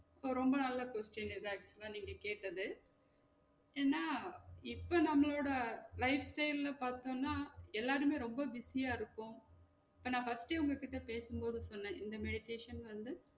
இது ரொம்ப நல்ல question இது actual ஆ நீங்க கேட்டது ஏனா இப்ப நம்மளோட life style ல பாத்தோம்னா எல்லாருமே ரொம்ப busy யா இருக்கோம் இப்போ நா first ஏ உங்க கிட்ட பேசும் போது சொன்னன் இந்த meditation வந்து